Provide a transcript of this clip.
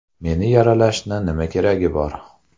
Meni yaralashni nima keragi bor?